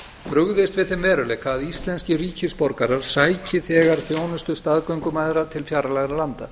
brugðist við þeim veruleika að íslenskir ríkisborgarar sæki þegar þjónustu staðgöngumæðra til fjarlægra landa